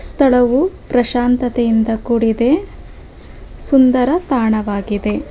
ಸ್ಥಳವು ಪ್ರಶಾಂತತೆಯಿಂದ ಕೂಡಿದೆ ಸುಂದರ ತಾಣವಾಗಿದೆ.